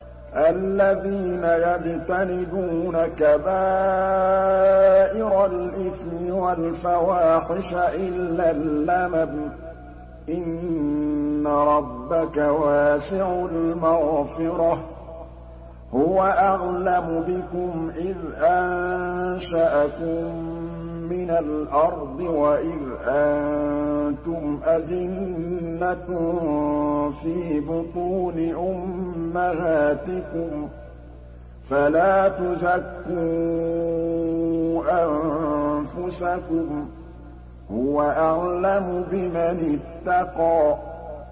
الَّذِينَ يَجْتَنِبُونَ كَبَائِرَ الْإِثْمِ وَالْفَوَاحِشَ إِلَّا اللَّمَمَ ۚ إِنَّ رَبَّكَ وَاسِعُ الْمَغْفِرَةِ ۚ هُوَ أَعْلَمُ بِكُمْ إِذْ أَنشَأَكُم مِّنَ الْأَرْضِ وَإِذْ أَنتُمْ أَجِنَّةٌ فِي بُطُونِ أُمَّهَاتِكُمْ ۖ فَلَا تُزَكُّوا أَنفُسَكُمْ ۖ هُوَ أَعْلَمُ بِمَنِ اتَّقَىٰ